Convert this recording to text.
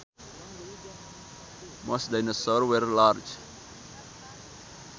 Most dinosaurs were large